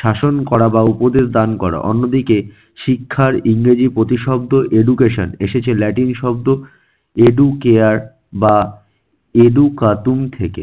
শাসন করা বা উপদেশ দান করা। অন্যদিকে শিক্ষার ইংরেজি প্রতিশব্দ education এসেছে ল্যাটিন শব্দ educare বা educatun থেকে।